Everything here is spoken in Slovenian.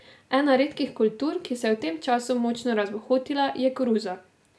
Ena redkih kultur, ki se je v tem času močno razbohotila, je koruza.